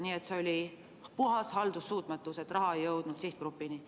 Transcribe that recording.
Nii et see oli puhas haldussuutmatus, et raha ei jõudnud sihtgrupini.